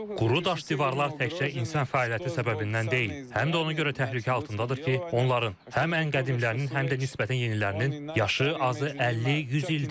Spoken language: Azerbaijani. Quru daş divarlar təkcə insan fəaliyyəti səbəbindən deyil, həm də ona görə təhlükə altındadır ki, onların həm qədimlərinin, həm də nisbətən yenilərinin yaşı azı 50-100 ildir.